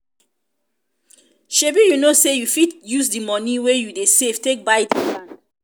shebi you know sey you fit use di money wey you dey save take buy dis dis land?